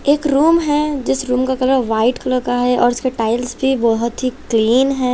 एक रूम है जिस रूम का कलर व्हाइट कलर का है और उसका टाइल्स भी बहोत ही क्लीन है।